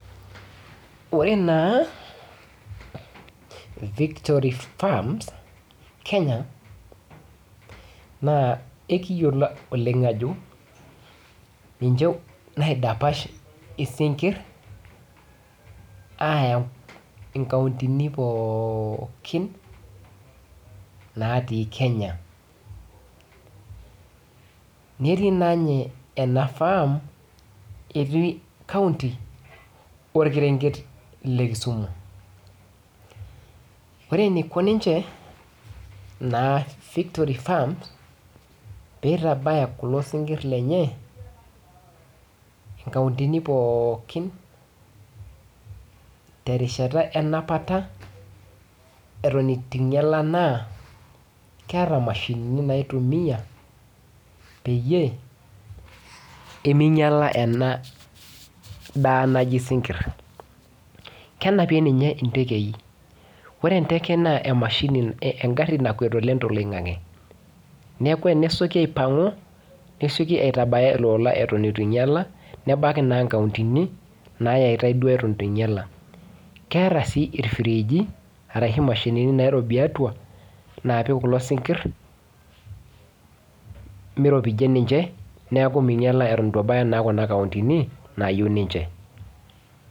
Oree naa victory farms Kenya naa ekiyiolo oleng' ajo ninche naidapash isingir aya inkauntini pookin naati Kenya, netii naa nye ena farm eti kaunti orkerenget lee kisumu ore eneiko ninche naa victory farms peitabaya kulo singir lenye inkauntini pookin terishata enapata eton itu einyala naa keeta imashinini naitumia peyiee peminyala enaa daa naji isingir kenapie ninye intekei ore enteke naa emashini engari nakuet oleng' toloing'ang'e neeku tenesyoki aipang'u nesyoki aitabaya ele ola eton itu einyala nebaki anaa inkautini naaitai duo eton itu einyala keeta sii irfiriji arashu imashinini nairobi atua naapik kulo singirr meiropijie ninche neeku meinyala eton itu ebaya naa kuna kauntini nayieu ninche